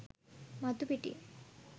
මතු පිටින්.